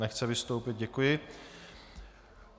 Nechce vystoupit, děkuji.